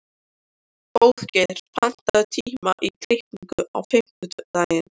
Hróðgeir, pantaðu tíma í klippingu á fimmtudaginn.